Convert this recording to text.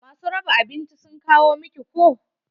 Ma su raba abinci sun kawo miki ko?